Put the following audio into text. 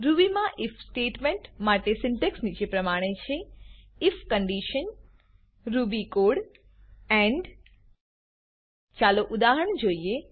Ruby મા if statement માટે syntax નીચે પ્રમાણે છે if condition if condition Ruby code Ruby code end end ચાલો ઉદાહરણ જોઈએ